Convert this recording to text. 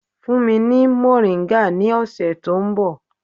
Fún mi ní mòríńgà ní ọ̀sẹ̀ tó ń bọ̀.